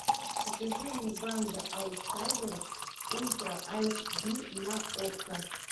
покажи мне банда аутсайдеров ультра айч ди на окко